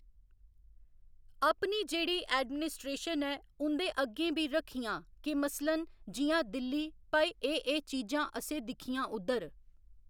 अपनी जेह्ड़ी एडमिनस्ट्रेशन ऐ उं'दे अग्गें बी रक्खियां के मसलन जियां दिल्ली भई एह् एह् चीजां असें दिक्खियां उद्धर।